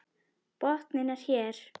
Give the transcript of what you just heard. Botninn er hér!